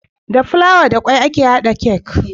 Da fulawa da kwai ake hada cake